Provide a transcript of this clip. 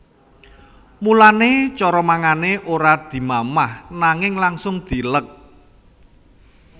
Mulané cara mangané ora dimamah nanging langsung dileg